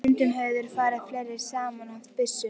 Og stundum höfðu þeir farið fleiri saman og haft byssu.